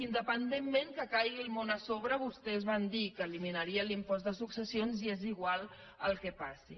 independentment que caigui el món a sobre vostès van dir que eliminarien l’impost de successions i és igual el que passi